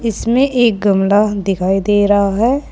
इसमें एक गमला दिखाई दे रहा है।